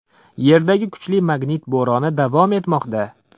Yerdagi kuchli magnit bo‘roni davom etmoqda.